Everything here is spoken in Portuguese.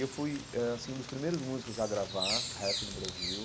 Eu fui eh assim um dos primeiros músicos a gravar rap no Brasil.